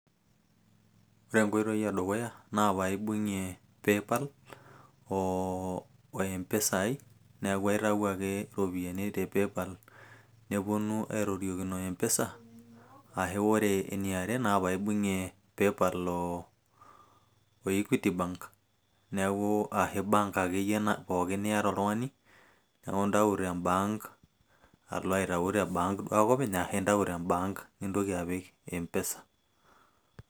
Ore enkoitoi edukuya naa paibung'ie paypal o Mpesa ai, neeku aitayu ake iropiyiani te Paypal nepuonu aitoriokino Mpesa ashua ore eniare naa paibung'ie Paypal o Equity bank neeku ashu bank akeyie pooki niyata oltung'ani neeku intayu tembank alo aitayu tebank duo ake openy, ashu intayu tembank nintoki apik Mpesa.